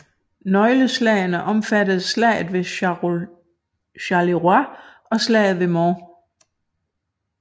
Nøgleslagene omfattede Slaget ved Charleroi og Slaget ved Mons